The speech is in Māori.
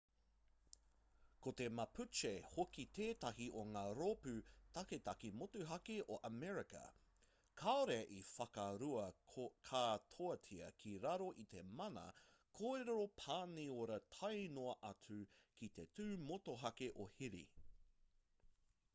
ko te mapuche hoki tētahi o ngā rōpū taketake motuhake o amerika kāore i whakaurua katoatia ki raro i te mana kōrero-pāniora tae noa atu ki te tū motuhake o hiri